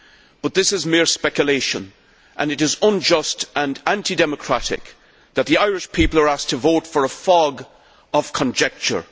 But this is mere speculation and it is unjust and anti democratic that the Irish people are asked to vote for a fog of conjecture.